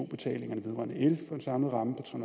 betalingerne vedrørende el for en samlet ramme på tre